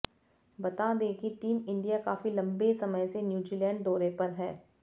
बता दें कि टीम इंडिया काफी लंबे समय से न्यूजीलैंड दौरे पर है